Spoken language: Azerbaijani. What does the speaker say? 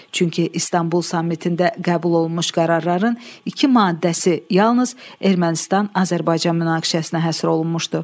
Çünki İstanbul sammitində qəbul olunmuş qərarların iki maddəsi yalnız Ermənistan-Azərbaycan münaqişəsinə həsr olunmuşdu.